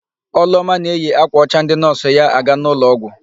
Ọlụoma na eyi ákwà ọcha ndị nọọsụ ya aga n'ụlọọgwụ.